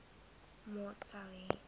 maat sou hê